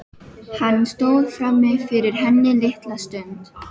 Hann stóð frammi fyrir henni litla stund.